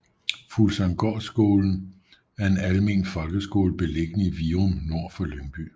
Fuglsanggårdsskolen er en almen folkeskole beliggende i Virum nord for Lyngby